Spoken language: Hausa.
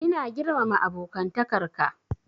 Ina girmama abokantakar ka.